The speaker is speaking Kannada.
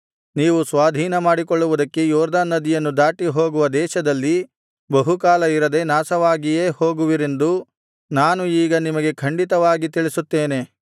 ನೀವು ಸ್ವಾಧೀನಮಾಡಿಕೊಳ್ಳುವುದಕ್ಕೆ ಯೊರ್ದನ್ ನದಿಯನ್ನು ದಾಟಿ ಹೋಗುವ ದೇಶದಲ್ಲಿ ಬಹುಕಾಲ ಇರದೆ ನಾಶವಾಗಿಯೇ ಹೋಗುವಿರೆಂದು ನಾನು ಈಗ ನಿಮಗೆ ಖಂಡಿತವಾಗಿ ತಿಳಿಸುತ್ತೇನೆ